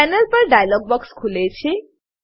panel પર dialog box ખુલે છે